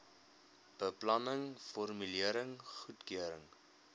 beplanning formulering goedkeuring